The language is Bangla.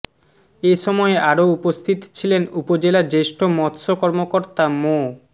এ সময় আরো উপস্থিত ছিলেন উপজেলা জ্যেষ্ঠ মৎস্য কর্মকর্তা মো